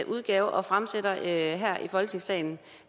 udgave og fremsætter her i folketingssalen